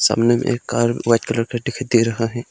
सामने में एक कार व्हाइट कलर का दिखाई दे रहा है।